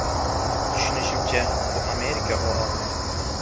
Tushunishimcha, bu Amerika OAVlari.